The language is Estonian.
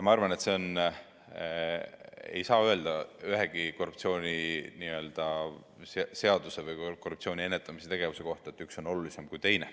Ma arvan, et ei saa öelda ühegi korruptsiooniseaduse või korruptsiooni ennetamise tegevuse kohta, et üks on olulisem kui teine.